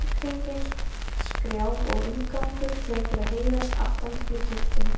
Líkhringing, skrjáf og umgangur tekur að heyrast aftan til í kirkjunni.